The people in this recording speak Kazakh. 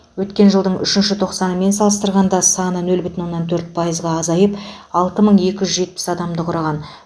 өткен жылдың үшінші тоқсанымен салыстырғанда саны нөл бүтін оннан төрт пайызға азайып алты мың екі жүз жетпіс адамды құраған